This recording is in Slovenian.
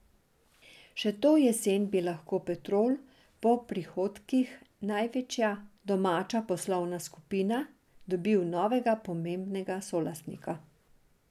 Še to jesen bi lahko Petrol, po prihodkih največja domača poslovna skupina, dobil novega pomembnega solastnika.